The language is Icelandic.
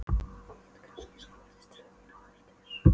Ég get kannski skotist til þín á eftir.